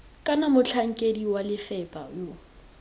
kana motlhankedi wa lefapha yo